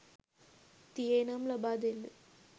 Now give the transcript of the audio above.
තියේ නම් ලබා දෙන්න.